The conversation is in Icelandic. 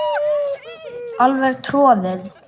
Alveg troðið.